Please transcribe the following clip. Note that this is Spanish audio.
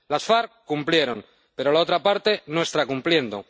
Las FARC cumplieron, pero la otra parte no está cumpliendo.